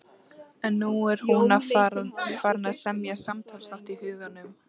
En nú er hún farin að semja samtalsþátt í huganum.